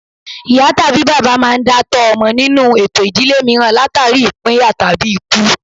Ìyá tàbí bàbá máa ń dá tọ́ ọmọ nínú ètò ìdílé mìíràn látàrí ìpínyà tàbí ikú